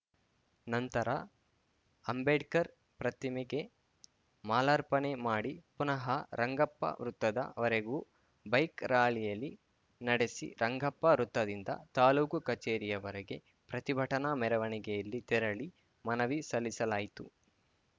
ನಂತರ ಅಂಬೇಡ್ಕರ್‌ ಪ್ರತಿಮೆಗೆ ಮಾಲಾರ್ಪಣೆ ಮಾಡಿ ಪುನಃ ರಂಗಪ್ಪ ವೃತ್ತದ ವರೆಗೂ ಬೈಕ್‌ ರಾಯಲಿ ನಡೆಸಿ ರಂಗಪ್ಪ ವೃತ್ತದಿಂದ ತಾಲೂಕು ಕಚೇರಿಯವರೆಗೂ ಪ್ರತಿಭಟನಾ ಮೆರವಣಿಗೆಯಲ್ಲಿ ತೆರಳಿ ಮನವಿ ಸಲ್ಲಿಸಲಾಯಿತು